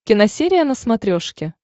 киносерия на смотрешке